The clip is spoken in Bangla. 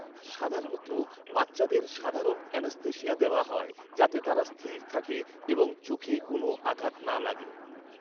সাধারণত, বাচ্চাদের সাধারণ অ্যানেস্থেশিয়া দেওয়া হয় যাতে তারা স্থির থাকে এবং চোখে কোনো আঘাত না লাগে।